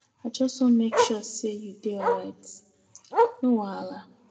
I just wan make sure say you dey alright, no wahala.